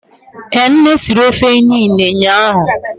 Ee nne siri ofe inine ụnyahụ